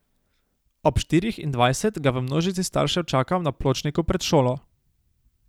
Ob štirih in dvajset ga v množici staršev čakam na pločniku pred šolo.